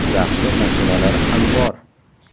Yaxshi mashinalar ham bor.